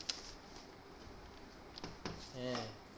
হ্যাঁ